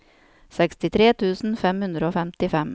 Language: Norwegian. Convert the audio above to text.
sekstitre tusen fem hundre og femtifem